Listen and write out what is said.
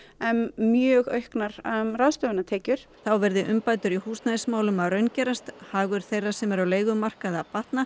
mjög auknar ráðstöfunartekjur þá verði umbætur í húsnæðismálum að raungerast hagur þeirra sem eru á leigumarkaði að batna